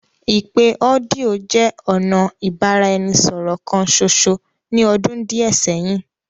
Ipe ọdio jẹ ọna ibaraẹnisọrọ kan ṣoṣo ni ọdun diẹ sẹhin.